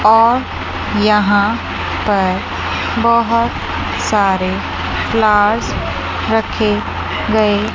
और यहां पर बोहोत सारे फ्लावर्स रखे गए--